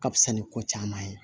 Ka fisa ni ko caman ye